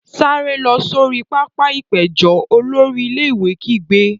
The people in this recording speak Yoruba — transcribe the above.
Sáré lọ sori pápá-ìpéjọ! Olórí ilé-ìwé kígbe.